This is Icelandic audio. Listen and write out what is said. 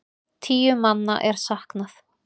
Tíu manna er saknað.